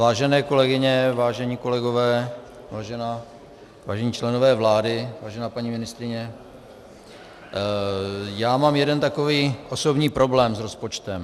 Vážené kolegyně, vážené kolegové, vážení členové vlády, vážená paní ministryně, já mám jeden takový osobní problém s rozpočtem.